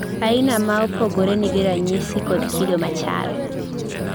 aina maopogore nigi ranyisi kod kido machal